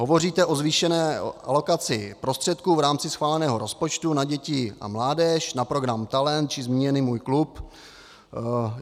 Hovoříte o zvýšené alokaci prostředků v rámci schváleného rozpočtu na děti a mládež, na program Talent či zmíněný Můj klub.